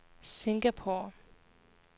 Singapore